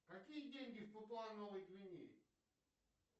какие деньги в папуа новой гвинее